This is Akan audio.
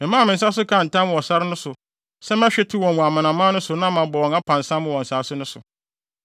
Memaa me nsa so kaa ntam wɔ sare no so se mɛhwete wɔn wɔ amanaman no so na mabɔ wɔn apansam wɔ nsase no so,